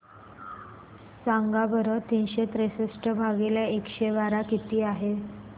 सांगा बरं तीनशे त्रेसष्ट भागीला एकशे बारा किती आहे